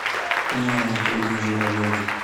инны анатольевны журавлевой